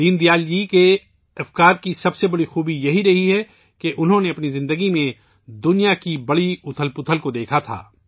دین دیال جی کے افکار کی سب سے بڑی خصوصیت یہ رہی ہے کہ انہوں نے اپنی زندگی میں دنیا کے بڑے بڑے اتار چڑھاؤ دیکھے